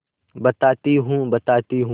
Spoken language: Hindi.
बताती हूँ बताती हूँ